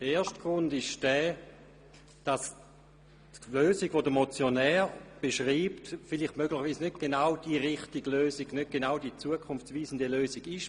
Der erste Grund ist der, dass die Lösung, die der Motionär beschreibt, möglicherweise nicht genau die richtige, zukunftsweisende Lösung ist.